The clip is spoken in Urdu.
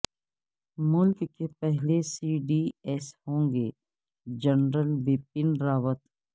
ملک کے پہلے سی ڈی ایس ہوں گے جنرل بپن راوت